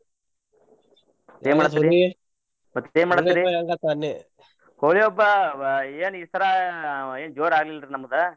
ಏನ್ ಹೋಳಿ ಹಬ್ಬಾವ ಏನ್ ಈ ಸರಾ ಏನ್ ಜೋರ್ ಆಗ್ಲಿಲ್ಲಾ ರೀ ನಮ್ದ.